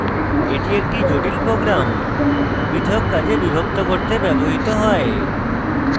এটি একটি জটিল program পৃথক কাজে বিভক্ত করতে ব্যবহৃত হয়